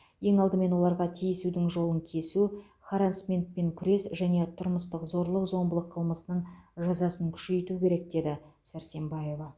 ең алдымен оларға тиісудің жолын кесу харассментпен күрес және тұрмыстық зорлық зомбылық қылмысының жазасын күшейту керек деді сәрсембаева